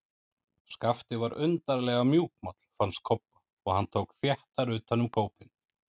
Skapti var undarlega mjúkmáll, fannst Kobba, og hann tók þéttar utan um kópinn.